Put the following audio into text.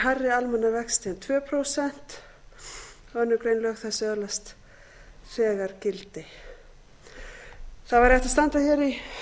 hærri almenna vexti en tvö prósent annarri grein lög þessi öðlast þegar gildi það væri hægt að standa hér í